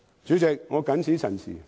主席，我謹此陳辭。